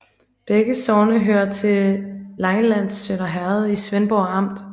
Begge sogne hørte til Langelands Sønder Herred i Svendborg Amt